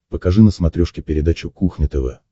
покажи на смотрешке передачу кухня тв